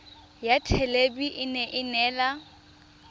ya thelebi ene e neela